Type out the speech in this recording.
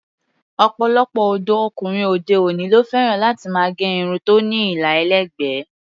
Ọ̀pọ̀lọpọ̀ ọ̀dọ́ ọkùnrin òde-òní ló fẹ́ràn láti máa gẹ irun tó ní àlà ẹlẹ́gbẹ̀ẹ́.